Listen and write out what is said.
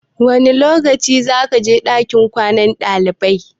Wane lokaci zakaje ɗakin kwanan ɗalibai?